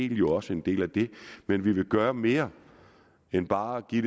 jo også en del af det men vi vil gøre mere end bare at give